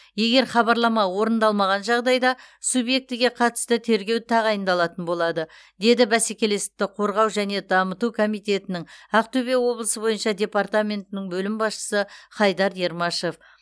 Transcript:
егер хабарлама орындалмаған жағдайда субъектіге қатысты тергеу тағайындалатын болады деді бәсекелестікті қорғау және дамыту комитетінің ақтөбе облысы бойынша департаментінің бөлім басшысы хайдар ермашев